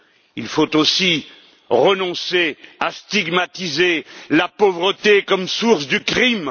Il faut aussi renoncer à stigmatiser la pauvreté comme source du crime.